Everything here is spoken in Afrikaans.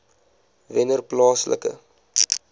wennerplaaslike